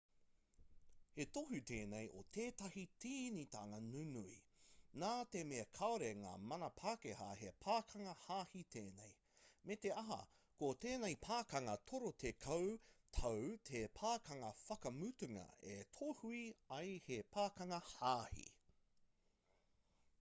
he tohu tēnei o tētahi tīnitanga nunui nā te mea kāore ngā mana pākehā he pakanga hāhī tēnei me te aha ko tēnei pakanga torutekau tau te pakanga whakamutunga e tohua ai he pakanga hāhī